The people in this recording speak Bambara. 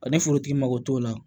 Ani forotigi mago t'o la